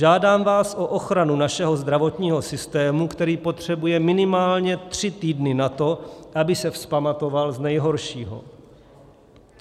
Žádám vás o ochranu našeho zdravotního systému, který potřebuje minimálně tři týdny na to, aby se vzpamatoval z nejhoršího.